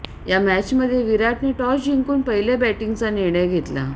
या मॅचमध्ये विराटने टॉस जिंकून पहिले बॅटिंगचा निर्णय घेतला